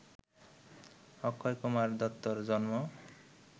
অক্ষয়কুমার দত্তর জন্ম